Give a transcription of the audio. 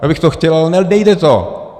Já bych to chtěl, ale nejde to.